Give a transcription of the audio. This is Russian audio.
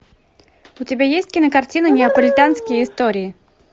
у тебя есть кинокартина неаполитанские истории